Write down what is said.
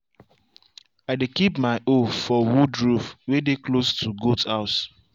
i dey keep my hoe for wood roof way dey close to goat house.